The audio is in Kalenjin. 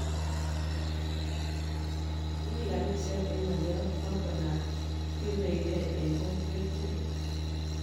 Kimi kaniset eng ngolyot noto ab kiekumene eng kokwet tukul